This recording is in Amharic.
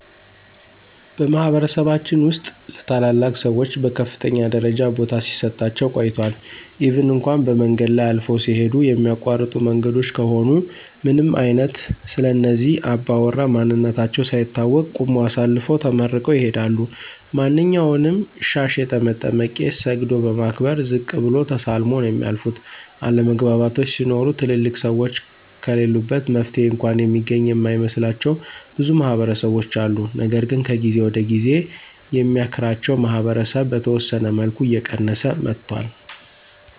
በማህበረሰባችን ውስጥ ለታላላቅ ሰዎች በከፍተኛ ደረጃ ቦታ ሲሰጣቸው ቆይቷል ኢቭን እንኳ በመንገድ ላይ አልፈው ሲሂዱ የሚያቋርጡ መንገዶች ከሆኑ ምንም አይነት ስለእነዚህ አባውራ ማንነታቸው ሳይታወቅ ቁመው አሳልፈው ተመርቀው ይሂዳሉ። ማንኛውንም ሻሽ የጠመጠመ ቄስ ሰግዶ በማክበር ዝቅ ብሎ ተሳልመው ነው የሚያልፉት፤ አለመግባባቶች ሲኖሩ ትልልቅ ሰዎች ከለሉበት መፍትሔ እንኳ የሚገኝ የማይመስላቸው ብዙ ማህበረሰቦች አሉ። ነገር ግን ከጊዜ ወደ ጊዜ የሚያክራቸው ማህበረሰብ በተወሰነ መልኩ እየቀየሰ መጥቷል።